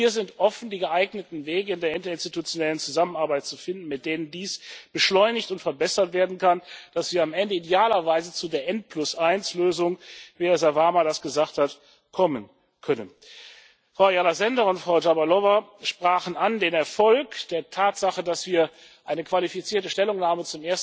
Wir sind offen, die geeigneten Wege in der interinstitutionellen Zusammenarbeit zu finden, mit denen dies beschleunigt und verbessert werden kann, damit wir am Ende idealerweise zu der N1 Lösung, wie Herr Sarvamaa das gesagt hat, kommen können. Frau Ayala Sender und Frau Dlabajová sprachen den Erfolg der Tatsache an, dass wir zum ersten Mal eine qualifizierte Stellungnahme